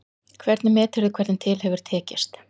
Hvernig meturðu hvernig til hefur tekist?